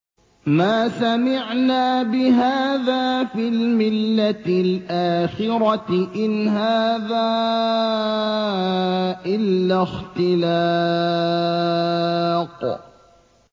مَا سَمِعْنَا بِهَٰذَا فِي الْمِلَّةِ الْآخِرَةِ إِنْ هَٰذَا إِلَّا اخْتِلَاقٌ